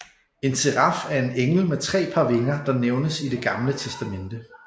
En seraf er en engel med tre par vinger der nævnes i Det gamle testamente